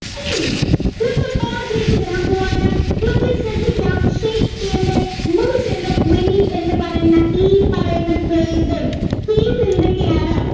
ഇനി നമ്മൾ പാഠത്തിലേക്ക് വരാൻ പോകാണ് മക്കളെ ശ്രദ്ധിക്ക ഷെയ്ക്കസ്പിയരിന്റെ merchant of venice എന്ന് പറയുന്ന ഈ പറയുന്ന play യുടെ theme എന്തൊക്കെയാണ്